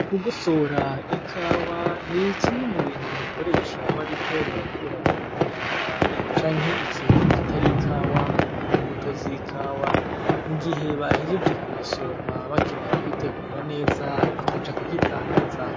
Kugosora ikawa ni kimwe mu bintu bakoresha bariko barakuramwo umwanda, canke ikintu kitari ikawa mu mbuto z’ikawa mu gihe bahejeje kuyisoroma bakeneye kuyitegura neza akaja kuyidandaza.